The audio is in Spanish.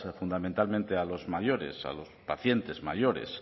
fundamentalmente a los mayores a los pacientes mayores